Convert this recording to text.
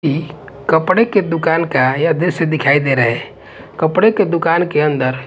ये कपड़े की दुकान का यह दृश्य दिखाई दे रहे कपड़े की दुकान के अंदर--